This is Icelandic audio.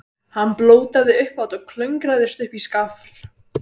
Hann blótaði upphátt og klöngraðist upp í skafl.